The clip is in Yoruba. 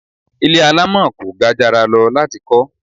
Ilé alamọ kò gajara lọ láti kọ